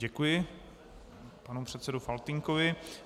Děkuji panu předsedovi Faltýnkovi.